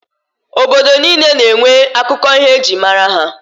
Obodo niile na-enwe akụkọ ihe e jiri mara ha.